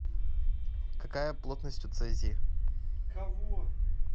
какая плотность у цезий